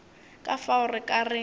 ka fao re ka re